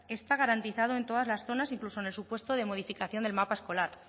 está garantizado en todas las zonas incluso en el supuesto de modificación del mapa escolar